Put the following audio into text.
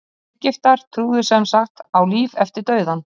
egyptar trúðu sem sagt á líf eftir dauðann